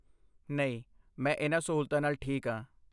ਨਹੀਂ। ਮੈਂ ਇਹਨਾਂ ਸਹੂਲਤਾਂ ਨਾਲ ਠੀਕ ਹਾਂ।